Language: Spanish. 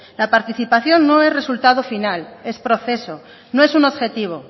la participación no es resultado final es proceso no es un objetivo